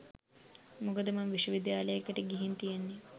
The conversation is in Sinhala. මොකද මං විශ්ව විද්‍යාලයකට ගිහින් තියෙන්නේ